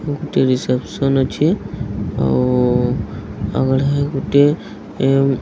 ଗୋଟେ ରିସେପ୍ସନ ଅଛି। ଆଉ ଆଗ ଠାରେ ଗୋଟିଏ ଏ --